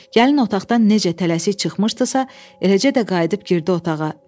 Gəlin otaqdan necə tələsik çıxmışdısa, eləcə də qayıdıb girdi otağa.